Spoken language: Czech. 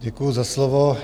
Děkuji za slovo.